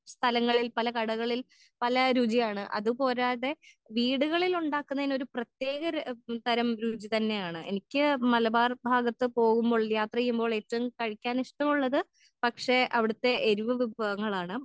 സ്ഥലങ്ങളിൽ പല കടകളിൽ പല രുചിയാണ് അത് പോരാതെ വീടുകളിൽ ഉണ്ടാകുന്നെൻ ഒരു പ്രേത്തെക ര തരം രുചി തന്നെയാണ്.എനിക്ക് മലബാർ ഭാഗത്ത് പോവുമ്പോൾ യാത്രയുമ്പോൾ ഏറ്റവും കഴിക്കാൻ ഇഷ്ട്ടമുള്ളത്‌ പക്ഷെ അവിടുത്തെ എരിവ് വിഭവങ്ങളാണ്.